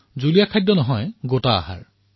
পনীয়া খাদ্য নহয় গোটা খাদ্য